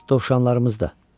Dovşanlarımız da.